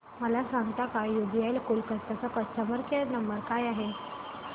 मला सांगता का यूबीआय कोलकता चा कस्टमर केयर नंबर काय आहे